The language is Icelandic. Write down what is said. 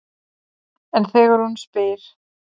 En þegar hún spyr